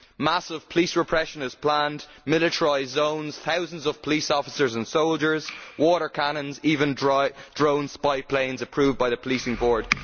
Massive police repression is planned, militarised zones, thousands of police officers and soldiers, water cannons and even drone spy planes approved by the policing board.